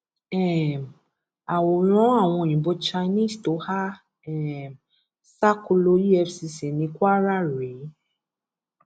um àwòrán àwọn òyìnbó chinese tó há um sákòlọ efcc ní kwara rèé